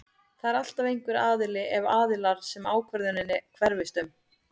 Það er alltaf einhver aðili eða aðilar sem ákvörðunin hverfist um.